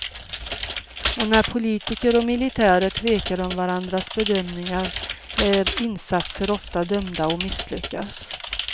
Och när politiker och militärer tvekar om varandras bedömningar är insatser ofta dömda att misslyckas.